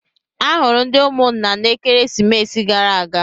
Ahụrụ ndị ụmụnna m n'ekeresimesi gara aga.